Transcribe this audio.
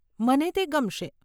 મને તે ગમશે.